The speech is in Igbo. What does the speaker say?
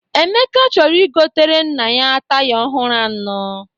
Emeka chọrọ igotere nna ya taya ọhụrụ anọ.